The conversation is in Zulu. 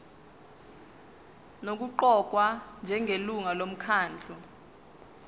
nokuqokwa njengelungu lomkhandlu